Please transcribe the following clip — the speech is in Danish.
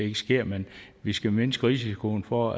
ikke sker men vi skal mindske risikoen for